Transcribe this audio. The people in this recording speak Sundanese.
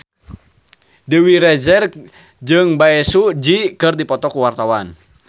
Dewi Rezer jeung Bae Su Ji keur dipoto ku wartawan